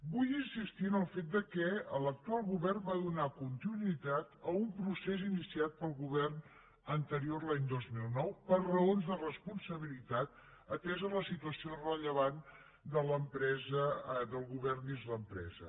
vull insistir en el fet que l’actual govern va donar continuïtat a un procés iniciat pel govern anterior l’any dos mil nou per raons de responsabilitat atesa la situació rellevant del govern dins l’empresa